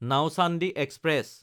Nauchandi express